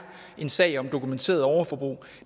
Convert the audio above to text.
en sag om dokumenteret overforbrug